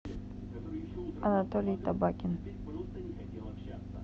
анатолий табакин